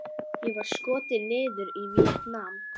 Hann var skotinn niður yfir Víetnam.